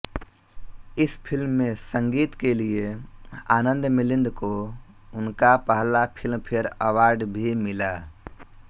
इस फिल्म में संगीत के लिये आनंद मिलिंद को उनका पहला फिल्मफेअर अवॉर्ड भी मिला